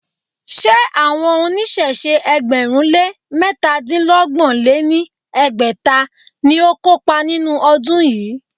Ṣé àwọn oníṣẹ̀ṣe ẹgbẹ̀rún lé métadínọgbọ̀n lé ní ẹgbẹ́ta ni ó kópa nínú ọdún yìí?